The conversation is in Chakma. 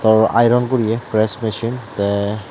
o iron guri ekko speson tey.